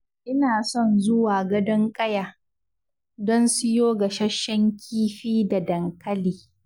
Ina son zuwa Gadon Ƙaya, don siyo gasashen kifi da dankali.